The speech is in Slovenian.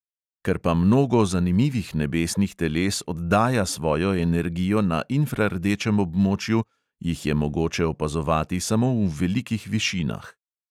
Ker pa mnogo zanimivih nebesnih teles oddaja svojo energijo na infrardečem območju, jih je mogoče opazovati samo v velikih višinah.